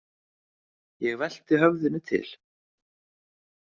Ég velti höfðinu til.